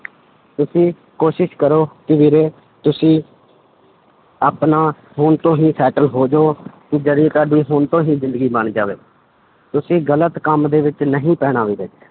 ਤੁਸੀਂ ਕੋਸ਼ਿਸ਼ ਕਰੋ ਕਿ ਵੀਰੇ ਤੁਸੀਂ ਆਪਣਾ ਹੁਣ ਤੋਂ ਹੀ settle ਹੋ ਜਾਓ ਕਿ ਜਿਹੜੀ ਤੁਹਾਡੀ ਹੁਣ ਤੋਂ ਹੀ ਜ਼ਿੰਦਗੀ ਬਣ ਜਾਵੇ, ਤੁਸੀਂ ਗ਼ਲਤ ਕੰਮ ਦੇ ਵਿੱਚ ਨਹੀਂ ਪੈਣਾ ਵੀਰੇ,